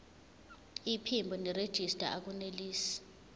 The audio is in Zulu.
iphimbo nerejista akunelisi